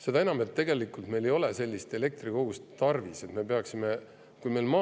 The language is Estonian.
Seda enam, et meil ei ole tegelikult sellist elektrikogust tarvis, et me peaksime seda tegema.